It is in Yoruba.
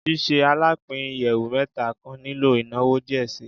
Ṣiṣe alapin iyẹwu mẹta kan nilo inawo diẹ sii